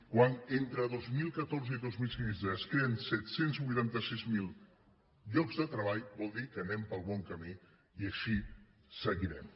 quan entre dos mil catorze i dos mil quinze es creen set cents i vuitanta sis mil llocs de treball vol dir que anem pel bon camí i així seguirem